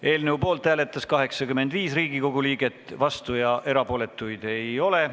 Hääletustulemused Poolt hääletas 85 Riigikogu liiget, vastuolijaid ja erapooletuid ei ole.